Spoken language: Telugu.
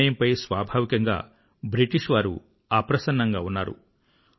ఈ నిర్ణయంపై స్వాభావికంగా బ్రిటిష్ వారు అప్రసన్నంగా ఉన్నారు